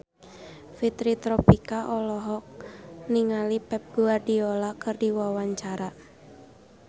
Fitri Tropika olohok ningali Pep Guardiola keur diwawancara